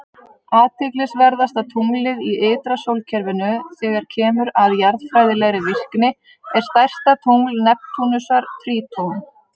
Athyglisverðasta tunglið í ytra sólkerfinu, þegar kemur að jarðfræðilegri virkni, er stærsta tungl Neptúnusar, Tríton.